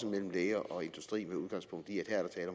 mellem læger og industri med udgangspunkt i